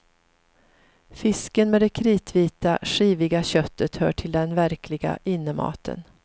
Fisken med det kritvita skiviga köttet hör till den verkliga innematen.